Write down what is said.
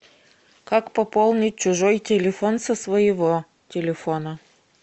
как пополнить чужой телефон со своего телефона